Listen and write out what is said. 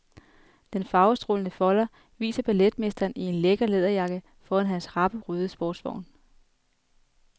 Den farvestrålende folder viser balletmesteren i en lækker læderjakke foran hans rappe, røde sportsvogn.